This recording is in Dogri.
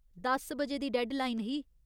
दस बजे दी डैडलाइन ही।